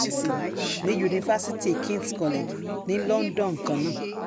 ní yunifásitì kings college ní london kan náà